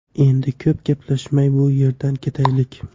Endi ko‘p gaplashmay bu yerdan ketaylik.